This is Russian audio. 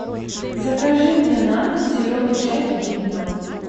закажи мне на дом зеленый чай гринфилд